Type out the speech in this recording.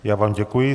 Já vám děkuji.